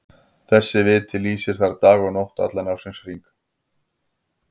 Þessi viti lýsir þar dag og nótt allan ársins hring.